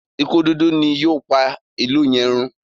ikú dúdú ni yóò pá ilú yen rún.